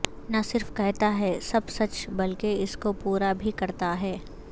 نہ صرف کہتا ہے سب سچ بلکہ اس کو پورا بھی کرتا ہے